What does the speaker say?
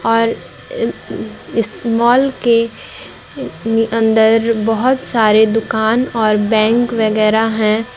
और इस मॉल के अंदर बहुत सारी दुकान और बैंक वगैरह है।